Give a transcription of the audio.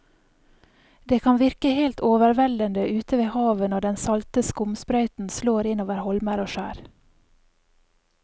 Det kan virke helt overveldende ute ved havet når den salte skumsprøyten slår innover holmer og skjær.